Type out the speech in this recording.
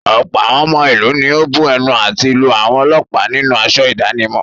Ọ̀pọ̀ àwọn ọmọ ìlú ni ó bu ẹnu àtẹ́ lu àwọn ọlọ́pàá nínú aṣọ ìdánimọ̀.